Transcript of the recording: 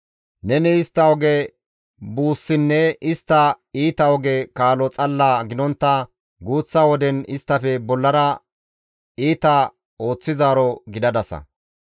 Neni istta oge buussinne istta iita oge kaalo xalla gidontta guuththa woden isttafe bollara iita ooththizaaro gidadasa.